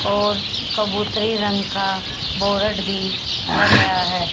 और कबूतरी रंग का बोर्ड भी लग रहा है।